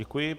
Děkuji.